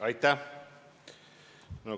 Aitäh!